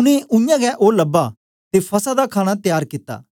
उनै उयांगै ओ लबा ते फसह दा खाणा तयार कित्ता